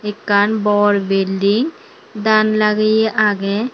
ekkan bor building dan lageye age.